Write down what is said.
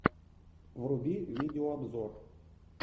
вруби видео обзор